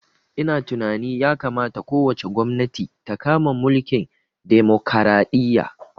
Ina tunani ya kamata ko wace gwamnati ta kama mulkin demokaraɗiya